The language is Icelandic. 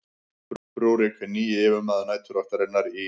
rúrík hinn nýji yfirmaður næturvaktarinnar í